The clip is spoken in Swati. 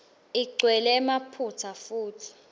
igcwele emaphutsa futsi